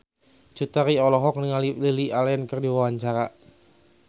Cut Tari olohok ningali Lily Allen keur diwawancara